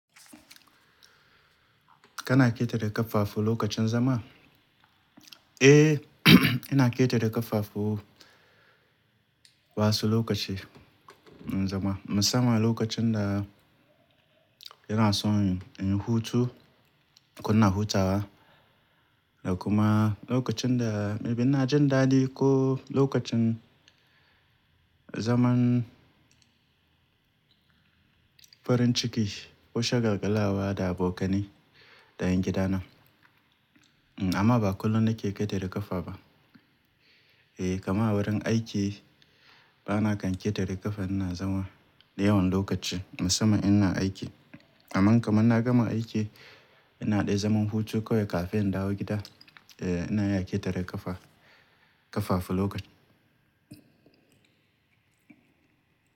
Kana ƙetare ƙafafu a lokacin zama? Eh, ina ƙetare ƙafafu a wasu lokaci na zama. Musamman lokacin da ina son in hutu ko ina hutawa da kuma lokacin da mai bi ina jan dadi ko lokacin zaman farin ciki ko shagalgalawa da abokanai da yan gida na. Amma ba kullum nake ƙetare ƙafa ba. Eh, kamar a wurin aiki bana kan ƙetare ƙafa ina zama da yawan lokaci musamman ina aiki. Amma kamar na gama aiki ina ɗay zaman hutu kawai kafin in dawo gida, eh ina iya ƙetare ƙafa, ƙafa a lokacin.